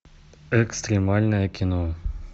экстремальное кино